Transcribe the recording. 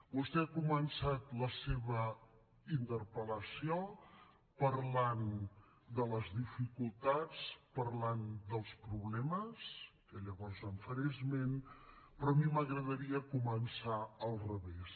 vostè ha començat la seva interpel·lació parlant de les dificultats parlant dels problemes que llavors en faré esment però a mi m’agradaria començar al revés